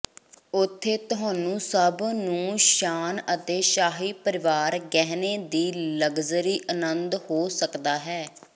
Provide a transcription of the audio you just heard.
ਉੱਥੇ ਤੁਹਾਨੂੰ ਸਭ ਨੂੰ ਸ਼ਾਨ ਅਤੇ ਸ਼ਾਹੀ ਪਰਿਵਾਰ ਗਹਿਣੇ ਦੀ ਲਗਜ਼ਰੀ ਆਨੰਦ ਹੋ ਸਕਦਾ ਹੈ